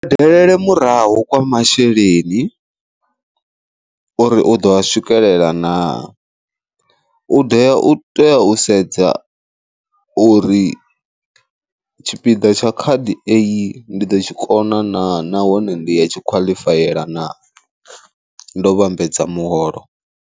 Delele murahu kwa masheleni uri uḓo a swikelela na, u ḓea u tea u sedza u uri tshipiḓa tsha khadi eyi ndi ḓo tshikona naa nahone ndi ya tshi khwaḽifayela na ndo vhambedza muholo.